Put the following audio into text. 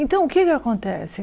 Então, o que é que acontece?